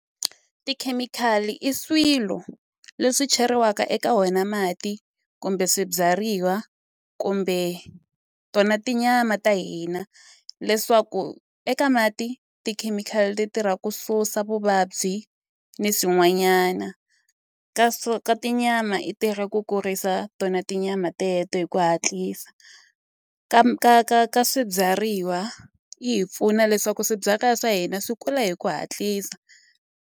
Tikhemikhali i swilo leswi cheriwaka eka wona mati kumbe swibyariwa kumbe tona tinyama ta hina leswaku eka mati tikhemikhali ti tirha ku susa vuvabyi ni swin'wanyana ka swo ka tinyama i tirha ku kurisa tona tinyama teto hi ku hatlisa ka ka ka ka swibyariwa yi hi pfuna leswaku swibyariwa swa hina swi kula hi ku hatlisa.